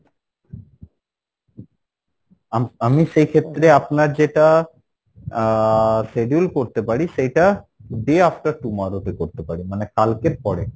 , আ~আমি সেই ক্ষেত্রে আপনার যেটা আহ schedule করতে পারি সেইটা day after tomorrow তে করতে পারি মানে কালকের পরে।